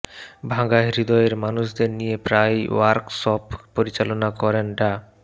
ভাঙা হৃদয়ের মানুষদের নিয়ে প্রায়ই ওয়ার্কশপ পরিচালনা করেন ডা